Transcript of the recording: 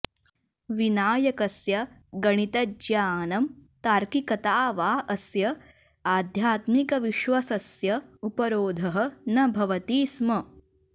विनायकस्य गणितज्ञानं तार्किकता वा अस्य आध्यात्मिकविश्वसस्य उपरोधः न भवति स्म